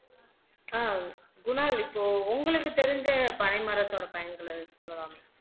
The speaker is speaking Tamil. ஆஹ் குணால் இப்போ உங்களுக்கு தெரிஞ்ச பனை மரத்தோட பயன்களை சொல்லலாம்